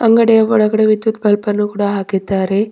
ಅಂಗಡಿಯ ಒಳಗಡೆ ವಿದ್ಯುತ್ ಬಲ್ಬ್ ಅನ್ನು ಕೂಡ ಹಾಕಿದ್ದಾರೆ.